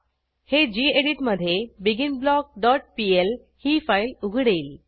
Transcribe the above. हे गेडीत मधे begin block dot PL ही फाईल उघडेल